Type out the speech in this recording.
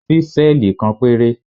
Ṣísẹ́ẹ̀lì kan péré.